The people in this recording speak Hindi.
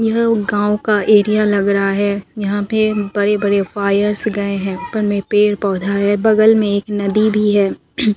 यह गांव का एरिया लग रहा है यहां पे बड़े बड़े वायर्स गए हैं उपर मैं पेड़ पौधा है बगल में एक नदी भी है।